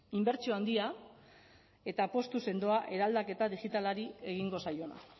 inbertsio handia eta apustu sendoa eraldaketa digitalari egingo zaiona